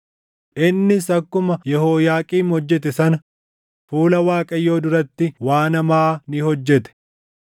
Innis akkuma Yehooyaaqiim hojjete sana, fuula Waaqayyoo duratti waan hamaa ni hojjete.